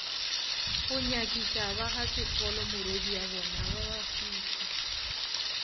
go nyakišabagasefolo morwediabona ba babafihla